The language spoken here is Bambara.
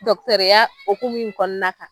hokumu in kɔnɔna kan